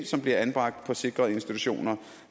som bliver anbragt på sikrede institutioner